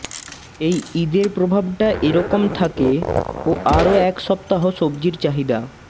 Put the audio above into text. এই ঈদের প্রভাবটা এরকম থাকে ও আরও এক সপ্তাহ সবজির চাহিদা